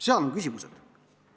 Need on küsimused.